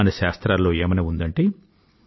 మన శాస్త్రాల్లో ఏమని ఉందంటే